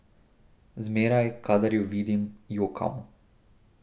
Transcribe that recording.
Zmeraj, kadar jo vidim, jokam.